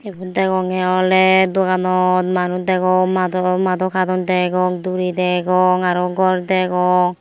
ebet dagonggye oly doganot manush dagong mado mado katone dagong duri dagong arow gore dagong.